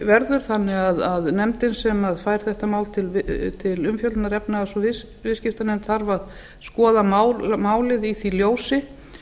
verður þannig að efnahags og viðskiptanefnd sem fær þetta mál til meðferðar þarf að skoða málið í því ljósi